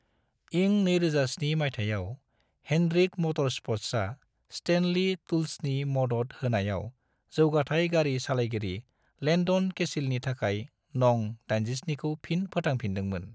इं 2007 माइथायाव, हेन्ड्रिक मटरस्पर्ट्सआ स्टेनली टुल्सनि मद'द होनायाव जौगाथाय गारि सालायगिरि लेन्डन केसिलनि थाखाय नं 87 खौ फिन फोथांफिन्दोंमोन।